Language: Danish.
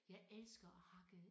Jeg elsker at hakke